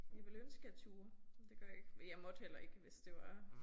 Jeg ville ønske jeg turde men det gør jeg ikke. Men jeg måtte heller ikke hvis det var